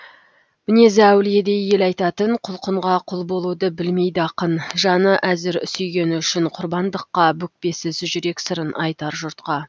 мінезі әулиедей ел айтатын құлқынға құл болуды білмейді ақын жаны әзір сүйгені үшін құрбандыққа бүкпесіз жүрек сырын айтар жұртқа